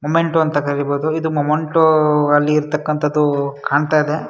Memento ಅಂತ ತಕ್ಕಾಗಿರಬಹುದು ಇಲ್ಲಿ ಕಾಣ್ತಾ ಇದೆ.